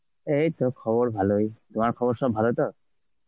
এইতো খবর ভালোই. তোমার খবর সব ভালো তো?